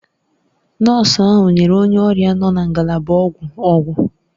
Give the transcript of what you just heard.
Nọọsụ ahụ nyere onye ọrịa nọ na ngalaba ọgwụ ọgwụ.